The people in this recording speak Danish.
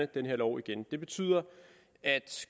den her lov igen det betyder at